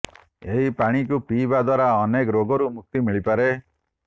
ଏହି ପାଣିକୁ ପିଇବା ଦ୍ୱାରା ଅନେକ ରୋଗରୁ ମୁକ୍ତି ମିଳିପାରେ